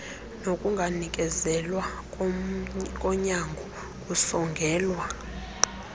nokunganikezelwa konyango kusongela